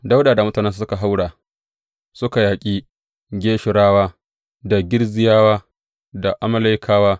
Dawuda da mutanensa suka haura suka yaƙi Geshurawa, da Girziyawa, da Amalekawa.